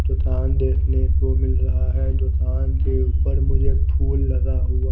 दुकान देखने को मिल रहा है दुकान के ऊपर मुझे फुल लगा हुआ--